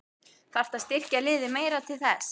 Þarftu að styrkja liðið meira til þess?